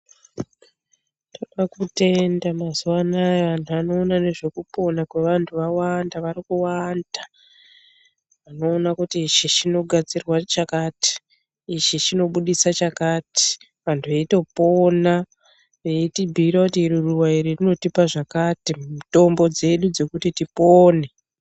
Tinoda kutenda mazuva anaya antu anoona ngezvekupona kwevantu awanda, varikuwanda vanoona kuti ichi chirikugadzirwa chakati, ichi chinobudisa chakati, vantu veitopona veitibhiira kuti iri ruva iri rinotipa zvakati, mitombo dzedu dzekuti tipone.